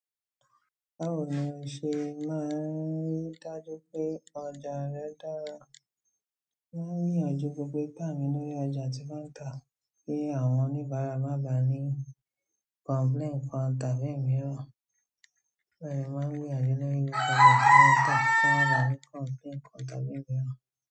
Báwo ni o ṣe máa ń ri dájú pé ọjà rẹ dára? Máa ń gbìyànjú gbogbo ipà mí lórí ọjà tí màá tà kí àwọn oníbàárà má bà á ní complaint kan tàbí mìíràn. Bẹ́ẹ̀ ni, màá ń rí àjélẹ̀ lórí ohun èlò tí wọ́n tà kí wọ́n bà a ní complaint kan tàbí mìíràn.